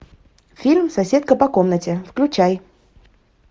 фильм соседка по комнате включай